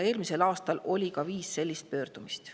Eelmisel aastal oli viis sellist pöördumist.